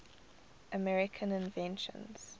american inventions